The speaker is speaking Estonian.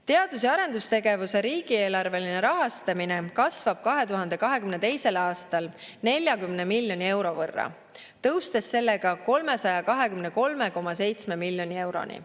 Teadus‑ ja arendustegevuse riigieelarveline rahastamine kasvab 2022. aastal 40 miljoni euro võrra, tõustes sellega 323,7 miljoni euroni.